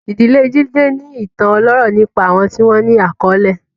Ìdílé Jide ní ìtàn ọlọ́rọ̀ nípa àwọn tí wọ́n ní àkọlé.